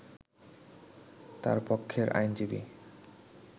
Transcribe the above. তার পক্ষের আইনজীবী